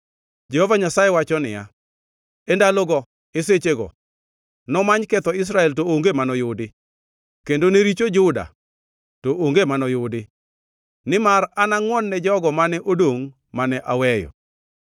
Jehova Nyasaye wacho niya, “E ndalogo, e sechego, nomany ketho Israel, to onge manoyudi, kendo ne richo Juda, to onge manoyudi, nimar anangʼwon-ne jogo mane odongʼ mane aweyo.”